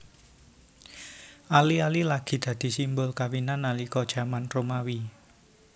Ali ali lagi dadi simbol kawinan nalika jaman Romawi